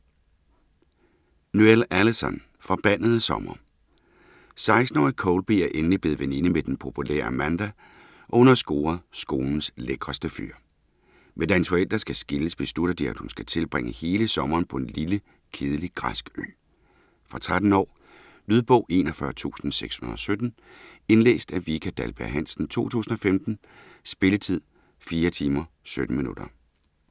Noël, Alyson: Forbandede sommer 16-årige Colby er endelig blevet veninde med den populære Amanda og hun har scoret skolens lækreste fyr. Men da hendes forældre skal skilles, beslutter de at hun skal tilbringe hele sommeren på en lille, kedelig græsk ø. Fra 13 år. Lydbog 41617 Indlæst af Vika Dahlberg-Hansen, 2015. Spilletid: 4 timer, 17 minutter.